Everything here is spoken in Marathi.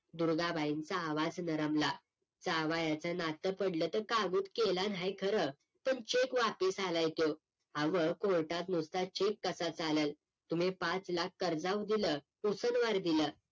दुर्गा बाईंचा आवाज नरमला जावयाचं नातं पडलं त काहीच केल नाही खरं पण CHEQUE वापीस आला य त्यो आव्ह COURT त नुसता CHEQUE कसा चालल तुम्ही पाच लाख कर्जाऊ दिल उसनदार दिल